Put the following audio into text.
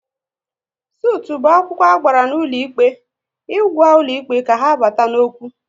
Sutụ bụ akwụkwọ agbara n'ụlọ ikpe ịgwa ụlọ ikpe ka ha bata n'okwu